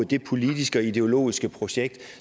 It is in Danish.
det politiske og ideologiske projekt